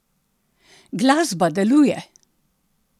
Glasba deluje!